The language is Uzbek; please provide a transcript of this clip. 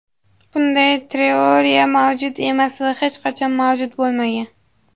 Bunday teoriya mavjud emas va hech qachon mavjud bo‘lmagan.